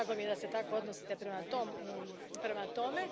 Drago mi je da se tako odnosite prema tome.